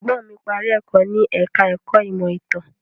Ẹ̀gbọ́n mí parí ẹ̀kọ́ ní ẹ̀ka ẹ̀kọ́ ìmọ̀ ìtàn.